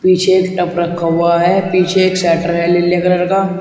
पीछे एक टप रखा हुआ है पीछे एक शेटर है लीले कलर का।